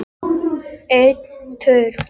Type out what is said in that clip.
Hún væri ekki með öllum mjalla.